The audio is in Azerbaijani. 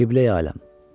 Qibleyi aləm.